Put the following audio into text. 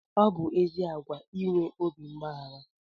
Ọ bụ ezi àgwà inwe obi mgbaghara